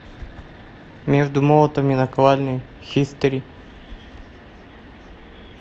между молотом и наковальней хистори